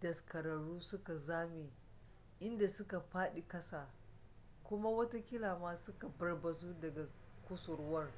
daskararru suka zame inda suka fadi kasa kuma watakila ma suka barbazu daga kusurwar